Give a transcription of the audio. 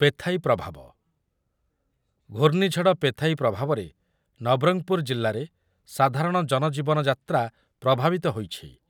Phethai ପ୍ରଭାବ, ଘୂର୍ଣ୍ଣିଝଡ଼ Phethai ପ୍ରଭାବରେ ନବରଙ୍ଗପୁର ଜିଲ୍ଲାରେ ସାଧାରଣ ଜନଜୀବନ ଯାତ୍ରା ପ୍ରଭାବିତ ହୋଇଛି ।